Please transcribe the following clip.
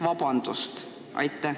Vabandust!